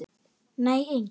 Nei engin.